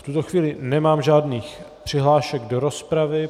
V tuto chvíli nemám žádných přihlášek do rozpravy.